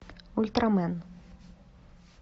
ультрамен